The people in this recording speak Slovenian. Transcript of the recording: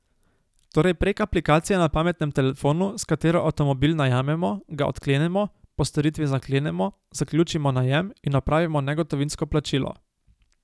Torej prek aplikacije na pametnem telefonu, s katero avtomobil najamemo, ga odklenemo, po storitvi zaklenemo, zaključimo najem in opravimo negotovinsko plačilo.